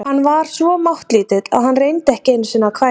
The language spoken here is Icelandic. Hann var svo máttlítill að hann reyndi ekki einu sinni að hvæsa.